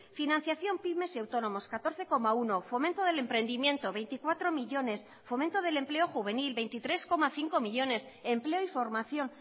financiación pymes y autónomos catorce coma uno fomento del emprendimiento veinticuatro millónes fomento del empleo juvenil veintitrés coma cinco millónes empleo y formación